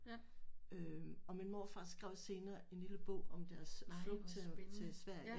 Ja nej hvor spændende ja